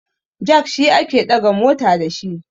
jak shi ake daga mota da shi